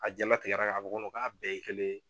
A jalatikɛ la k'a fɔ ko k'a bɛɛ ye kelen ye.